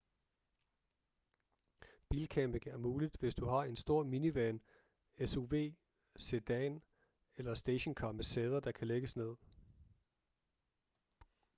bilcamping er muligt hvis du har en stor minivan suv sedan eller stationcar med sæder der kan lægges ned